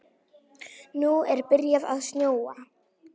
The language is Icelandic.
Nú er byrjað að snjóa.